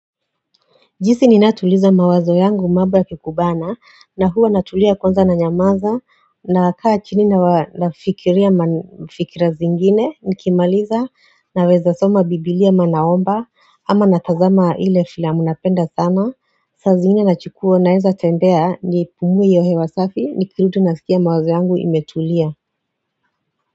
Jinsi ninatuliza mawazo yangu mambo yakikubana nahuwa natulia kwanza na nyamaza na kaa chini nafikiria fikira zingine nikimaliza na weza soma biblia ama naomba ama natazama ile filamu napenda sana saa zingine nachukua naweza tembea niipumue hiyo hewasafi ni kirudi nasikia mawazo yangu imetulia.